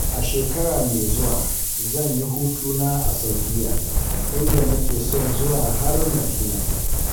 A shekara mai zuwa. zan yi hutuna a Saudiyya, inda nake son zuwa har Madina.